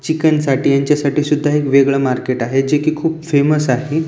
Chicken साठी याच्या साठी सुद्धा वेगळ मार्केट आहे जे की खूप फेमस आहे.